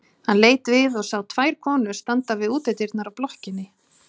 Hann leit við og sá tvær konur standa við útidyrnar á blokkinni.